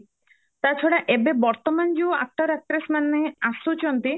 ତା ଛଡା ଏବେ ବର୍ତମାନ ଯୋଉ actor actress ମାନେ ଆସୁଛନ୍ତି